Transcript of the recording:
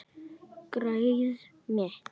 Greyið mitt